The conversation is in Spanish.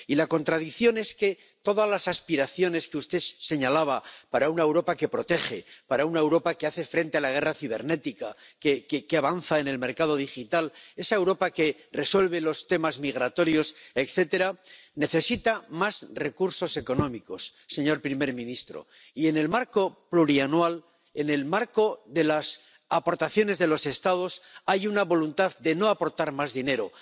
Y la contradicción es que todas las aspiraciones que usted señalaba para una Europa que protege, para una Europa que hace frente a la guerra cibernética, que avanza en el mercado digital, para esa Europa que resuelve los temas migratorios, etcétera, necesitan más recursos económicos, señor primer ministro, y, en el marco plurianual, en el marco de las aportaciones de los Estados, hay una voluntad de no aportar más dinero.